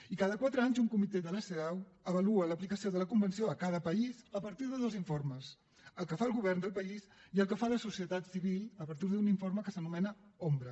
i cada quatre anys un comitè de la cedaw avalua l’aplicació de la convenció a cada país a partir de dos informes el que fa el govern del país i el que fa la societat civil a partir d’un informe que s’anomena ombra